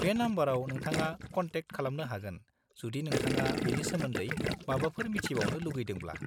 बे नम्बराव नोंथाङा कन्टेक खालामनो हागोन जुदि नोंथाङा बेनि सोमोन्दै माबाफोर मिथिबावनो लुगैदोंब्ला।